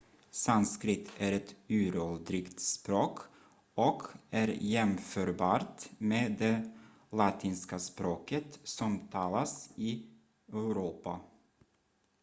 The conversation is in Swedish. sanskrit är ett uråldrigt språk och är jämförbart med det latinska språket som talas i europa